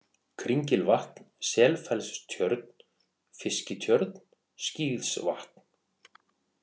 Kringilvatn, Selfellstjörn, Fiskitjörn, Skíðsvatn